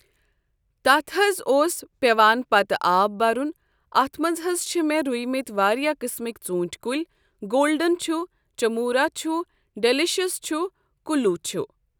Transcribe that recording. تتھ حظ اوس پٮ۪وان پتہٕ آب برُن اتھ منٛز حظ چھِ مےٚ رُیٚمٕتۍ واریاہ قسٕمٕکۍ ژوٗنٹھۍ کُلۍ گولڈن چھُ چموٗرا چھُ ڈلشس چھُ کُلوٗ چھُ ۔